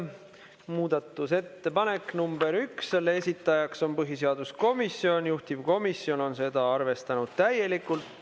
Muudatusettepanek nr 1, selle esitajaks on põhiseaduskomisjon, juhtivkomisjon on seda arvestanud täielikult.